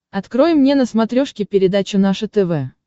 открой мне на смотрешке передачу наше тв